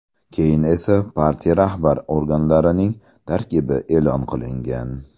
Keyin esa partiya rahbar organlarining tarkibi e’lon qilingan.